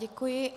Děkuji.